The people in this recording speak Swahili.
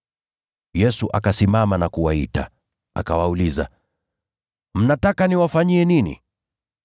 Yesu akasimama na kuwaita, akawauliza, “Mnataka niwafanyie nini?”